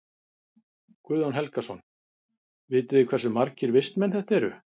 Guðjón Helgason: Vitið þið hversu margir vistmenn þetta eru?